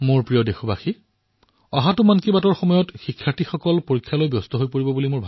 মোৰ মৰমৰ দেশবাসীসকল আগন্তুক মন কী বাত পৰ্যন্ত বিদ্যাৰ্থীসকল বোধহয় পৰীক্ষাৰ সৈতে ব্যস্ত থাকিব